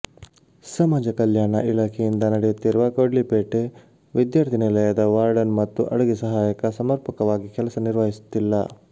ಸಮಾಜ ಕಲ್ಯಾಣ ಇಲಾಖೆಯಿಂದ ನಡೆಯುತ್ತಿರುವ ಕೊಡ್ಲಿಪೇಟೆ ವಿದ್ಯಾರ್ಥಿ ನಿಲಯದ ವಾರ್ಡನ್ ಮತ್ತು ಅಡುಗೆ ಸಹಾಯಕ ಸಮರ್ಪಕವಾಗಿ ಕೆಲಸ ನಿರ್ವಹಿಸುತ್ತಿಲ್ಲ